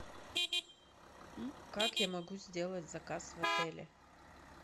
как я могу сделать заказ в отеле